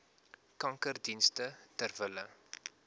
kankerdienste ter wille